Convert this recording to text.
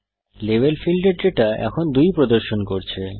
level ফীল্ডের data এখন 2 প্রদর্শন করছে